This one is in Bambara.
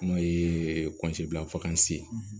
N'o ye dilanfakasi ye